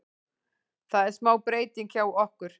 Það er smá breytingar hjá okkur.